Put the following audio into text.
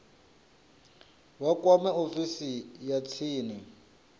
vha kwame ofisi ya tsini